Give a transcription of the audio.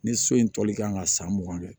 Ni so in tɔli kan ka san mugan kɛ